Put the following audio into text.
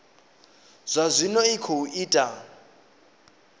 zwa zwino i khou ita